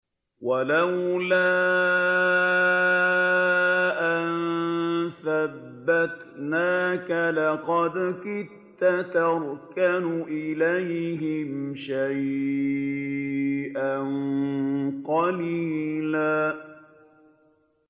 وَلَوْلَا أَن ثَبَّتْنَاكَ لَقَدْ كِدتَّ تَرْكَنُ إِلَيْهِمْ شَيْئًا قَلِيلًا